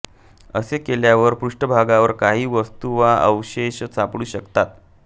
असे केल्यावर पृष्ठभागावर काही वस्तु वा अवशेष सापडू शकतात